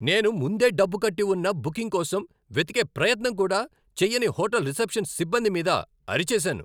నేను ముందే డబ్బు కట్టి ఉన్న బుకింగ్ కోసం వెతికే ప్రయత్నం కూడా చెయ్యని హోటల్ రిసెప్షన్ సిబ్బంది మీద అరిచేసాను.